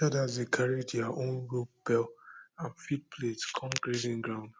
herders dey carry their own rope bell and feed plate come grazing ground